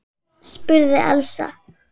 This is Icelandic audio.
spurði Elsa.